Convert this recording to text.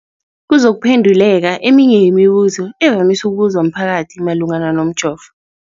Kuzokuphe nduleka eminye yemibu zo evamise ukubuzwa mphakathi malungana nomjovo.